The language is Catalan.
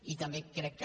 i també crec que